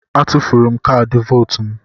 A tufuru m kaadị vootu m.